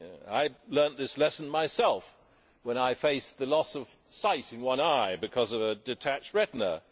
I learnt this lesson myself when I faced the loss of sight in one eye because of a detached retina.